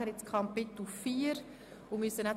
Wir kommen nachher zu Kapitel 4.